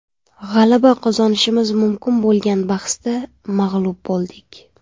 G‘alaba qozonishimiz mumkin bo‘lgan bahsda mag‘lub bo‘ldik.